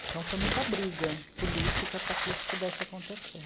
Então foi muita briga política para que isso pudesse acontecer.